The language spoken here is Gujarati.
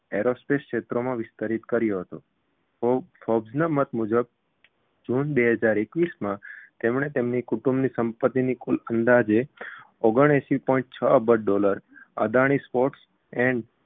aerospace ક્ષેત્રમાં વિસ્તરિત કર્યુ હતુ forbes ના મત મુજબ જુન બે હજાર એકવીસમાં તેમણે તેમની કુટુંબની સંપતિની કુલ અંદાજે ઓગણએંશી point છ અબજ dollar અદાણી ports and